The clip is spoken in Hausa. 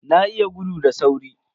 Na iya gudu da sauri.